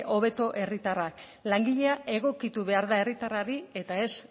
hobeto herritarra langilea egokitu behar da herritarrari eta ez